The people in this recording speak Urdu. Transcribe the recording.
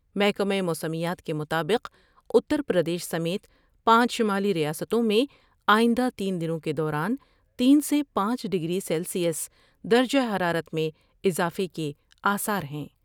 محکمہ موسمیات کے مطابق اتر پردیش سمیت پانچ شمالی ریاستوں میں آئندہ تین دنوں کے دوران تین سے پانچ ڈگری سیلسیس درجہ حرارت میں اضافے کے آثار ہیں ۔